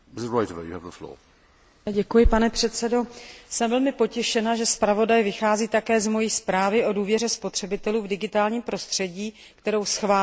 Jsem velmi potěšena, že zpravodaj vychází také z mojí zprávy o důvěře spotřebitelů v digitálním prostředí, kterou schválil Evropský parlament v minulém mandátu.